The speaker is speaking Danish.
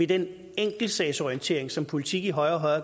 den enkeltsagsorientering som politik i højere og højere